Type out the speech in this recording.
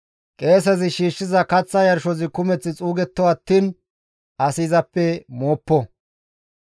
Qeesezi shiishshiza kaththa yarshozi kumeth xuugetto attiin asi izappe mooppo.»